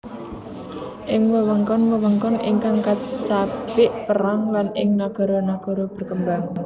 Ing wewengkon wewengkon ingkang kacabik perang lan ing nagara nagara berkembang